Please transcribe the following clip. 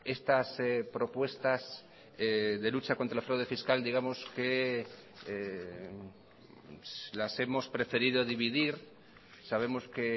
estas propuestas de lucha contra el fraude fiscal digamos que las hemos preferido dividir sabemos que